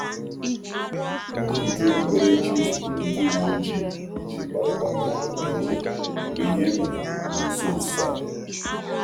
Ndị ndú okpukperechi zutere um ndị uwe ojii iji kparịta mmekọrịta ógbè mgbe ihe mere na nso nso a.